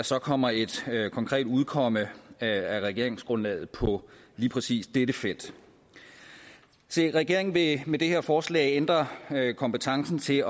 så kommer et konkret udkomme af regeringsgrundlaget på lige præcis dette felt regeringen vil med det her forslag ændre kompetencen til